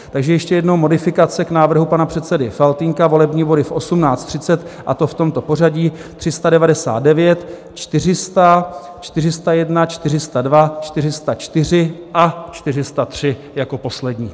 Takže ještě jednou modifikace k návrhu pana předsedy Faltýnka - volební body v 18.30, a to v tomto pořadí: 399, 400, 401, 402, 404 a 403 jako poslední.